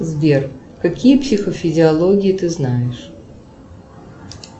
сбер какие психофизиологии ты знаешь